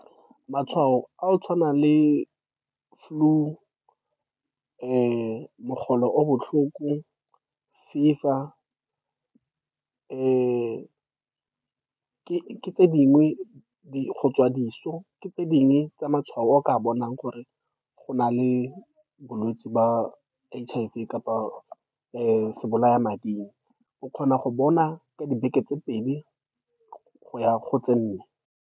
Matshwao a go tshwana le flu, mogolo o o botlhoko, fever, ke tse dingwe di go tswa diso, ke tse dingwe tsa matshwao a o ka bonang gore ona le bolwetse ba H_I_V kapa . O kgona go bona ka dibeke tse pedi go ya go tse nne.